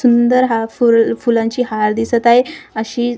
सुंदर हा फुल फुलांची हार दिसत आहे अशी--